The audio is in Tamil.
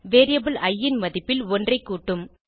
வேரியபிள் இ ன் மதிப்பில் ஒன்றைக் கூட்டும்